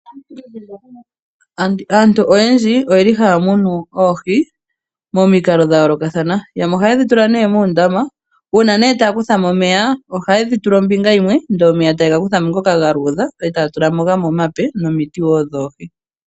Aantu mbo haya muunu oohi, ohaye dhi tula moondama moka muna omeya. Ngele omeya ngano ga luudha ohaya tulamo ishewe omeya gamwe.